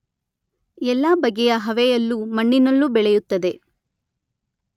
ಎಲ್ಲ ಬಗೆಯ ಹವೆಯಲ್ಲೂ ಮಣ್ಣಿನಲ್ಲೂ ಬೆಳೆಯುತ್ತದೆ.